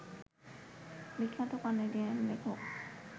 বিখ্যাত কানাডিয়ান লেখক